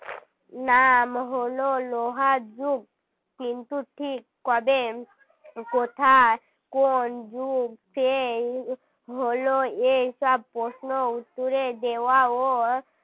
নাম হল লোহা যুগ কিন্তু ঠিক কবে কোথায় কোন যুগ সে হল এই সব প্রশ্ন উত্তরে দেওয়াও